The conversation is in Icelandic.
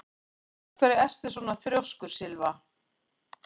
Af hverju ertu svona þrjóskur, Sylva?